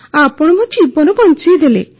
ଆପଣ ମୋ ଜୀବନ ବଞ୍ଚାଇଦେଲେ